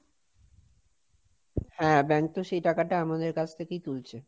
হ্যাঁ, bank তো সেই টাকাটা আমাদের কাছ থেকেই তুলছে।